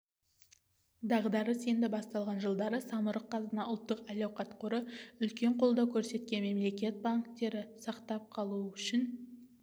дағдарыс енді басталған жылдары самрұк-қазына ұлттық әл-ауқат қоры үлкен қолдау көрсеткен мемлекет банктерді сақтап қалу үшін